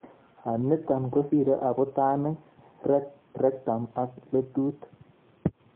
Niton kosiree abutanik, rectum ak letut